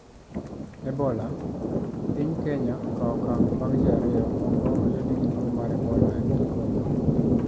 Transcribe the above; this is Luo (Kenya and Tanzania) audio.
Ebola: Piny Kenya okawo okang` bang` ji ariyo moko oyudi gi tuo mar ebola e piny Congo.